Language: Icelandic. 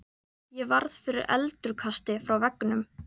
Ég varð fyrir endurkasti frá veggnum.